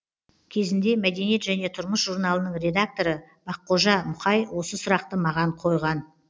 кезінде мәдениет және тұрмыс журналының редакторы баққожа мұқай осы сұрақты маған қойған